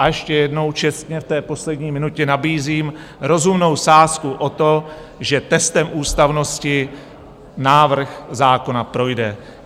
A ještě jednou čestně v té poslední minutě nabízím rozumnou sázku o to, že testem ústavnosti návrh zákona projde.